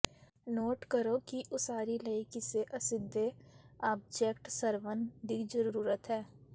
note ਕਰੋ ਕਿ ਉਸਾਰੀ ਲਈ ਕਿਸੇ ਅਸਿੱਧੇ ਆਬਜੈਕਟ ਸਰਵਨ ਦੀ ਜ਼ਰੂਰਤ ਹੈ